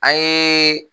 An ye